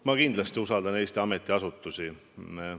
Ma kindlasti usaldan Eesti ametiasutusi.